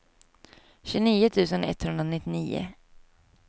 tjugonio tusen etthundranittionio